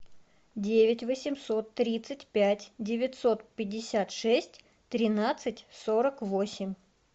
девять восемьсот тридцать пять девятьсот пятьдесят шесть тринадцать сорок восемь